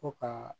Ko ka